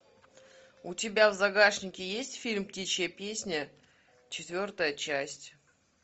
у тебя в загашнике есть фильм птичья песня четвертая часть